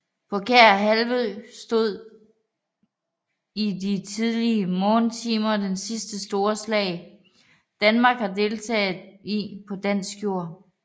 På Kær Halvø stod i de tidlige morgentimer det sidste store slag Danmark har deltaget i på dansk jord